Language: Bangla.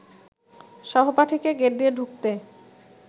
সহপাঠীকে গেট দিয়ে ঢুকতে